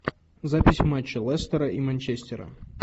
запись матча лестера и манчестера